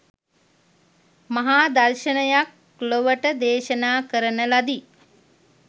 මහා දර්ශනයක් ලොවට දේශනා කරන ලදි